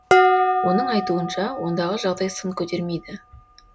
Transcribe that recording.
оның айтуынша ондағы жағдай сын көтермейді